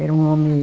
Era um homem